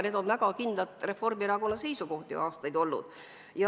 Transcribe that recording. Need on väga kindlad Reformierakonna seisukohad aastaid olnud.